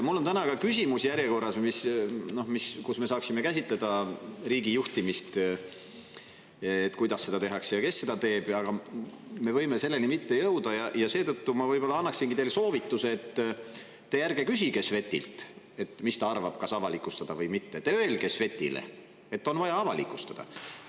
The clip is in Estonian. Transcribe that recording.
Mul on täna ka järjekorras küsimus, kus me saaksime käsitleda riigijuhtimist, et kuidas seda tehakse ja kes seda teeb, aga me võime selleni mitte jõuda ja seetõttu ma võib-olla annaksingi teile soovituse: te ärge küsige Svetilt, mis ta arvab, et kas avalikustada või mitte, te öelge Svetile, et on vaja avalikustada.